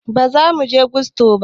Bazamuje gusto ba